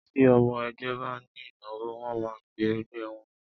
Ti ọmọ ẹgbẹ́ ba ní ìnáwó, wọ́n máa ń pẹ ẹgbẹ́ wọ́n.